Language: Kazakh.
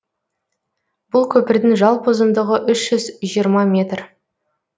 бұл көпірдің жалпы ұзындығы үш жүз жиырма метр